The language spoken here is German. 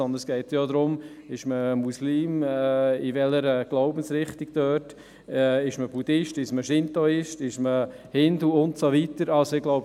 Es geht darum, ob man Muslim ist, ob man Buddhist ist, ob man Schintoist ist oder ob man Hindu ist.